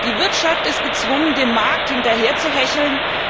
Die Wirtschaft ist gezwungen, dem Markt hinterherzuhecheln.